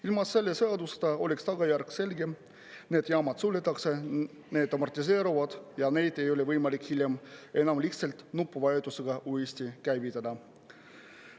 Ilma selle seaduseta oleks tagajärg selge: need jaamad suletakse, need amortiseeruvad ja neid ei ole võimalik hiljem enam lihtsalt nupuvajutusega uuesti käivitada.